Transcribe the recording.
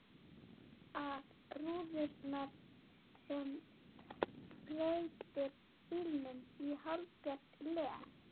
ar rúðurnar sem breytir bílnum í hálfgert leg.